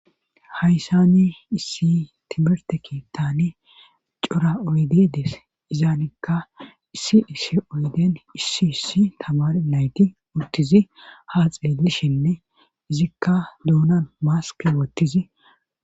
Hayssani issi timerte keettane cora oyde dees izaanikka issi issi oyden issi issi tamar nayti urtizi ha xeelishinne izikka duunan maaske wottizi.